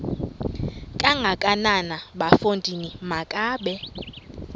kangakanana bafondini makabe